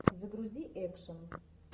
загрузи экшн